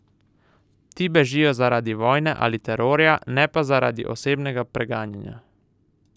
Ti bežijo zaradi vojne ali terorja, ne pa zaradi osebnega preganjanja.